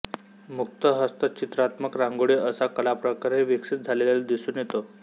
मुक्त हस्त चित्रात्मक रांगोळी असा कलाप्रकारही विकसित झालेला दिसून येतो